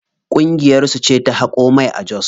Ƙungiyar su ce ta haƙo mai a jos.